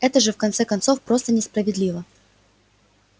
это же в конце концов просто несправедливо